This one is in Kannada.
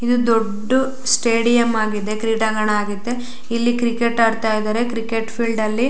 ಇದು ದೊಡ್ದು ಸ್ಟೇಡಿಯಂ ಆಗಿದೆ ಕ್ರೀಡಾಂಗಣ ಆಗುತ್ತೆ ಇಲ್ಲಿ ಕ್ರಿಕೆಟ್ ಆಡತ್ತಾ ಇದಾರೆ ಕ್ರಿಕೆಟ್ ಫೀಲ್ಡ್ ಅಲ್ಲಿ --